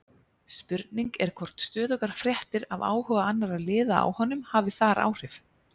Spurning er hvort stöðugar fréttir af áhuga annarra liða á honum hafi þar áhrif?